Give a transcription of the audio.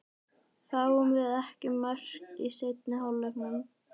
Fáum við ekki mörk í seinni hálfleiknum?